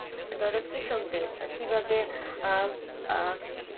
ধর কৃষকদের কিভাবে? আহ আহ